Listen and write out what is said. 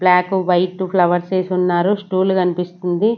Block white ఫ్లవర్సేసి ఉన్నారు stool కన్పిస్తుంది.